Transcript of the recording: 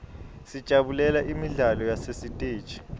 sijabulela imidlalo yasesiteji